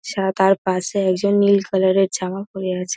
সাদার পাশে একজন নীল কালার -এর জামা পরে আছে ।